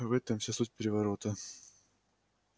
в этом вся суть переворота